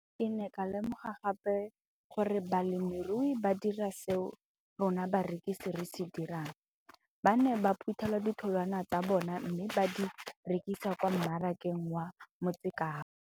Ke ne ka lemoga gape gore balemirui ba dira seo rona barekisi re se dirang - ba ne ba phuthela ditholwana tsa bona mme ba di rekisa kwa marakeng wa Motsekapa.